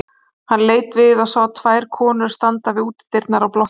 Hann leit við og sá tvær konur standa við útidyrnar á blokkinni.